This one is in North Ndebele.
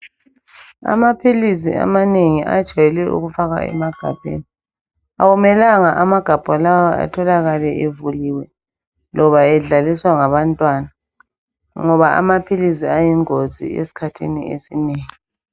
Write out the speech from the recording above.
Amapilisi amanengi ajwayele ukufakwa emagabheni akumelanga amagabha lawa atholakale evuliwe loba edlaliswa ngabantwana, ngoba amapilisi ayingozi esikhathini esinengi.